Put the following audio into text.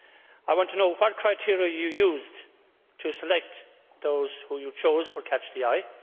I want to know what criteria you used to select those you chose for catch the eye.